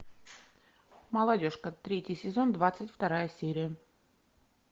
молодежка третий сезон двадцать вторая серия